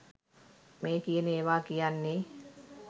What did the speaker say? මේ කියන ඒවා කියන්නේ.